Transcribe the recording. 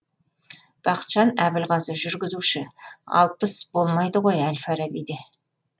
бақытжан әбілғазы жүргізуші алпыс болмайды ғой әл фарабиде